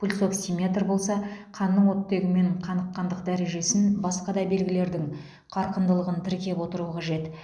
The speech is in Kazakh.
пульсоксиметр болса қанның оттегімен қаныққандық дәрежесін басқа да белгілердің қарқындылығын тіркеп отыру қажет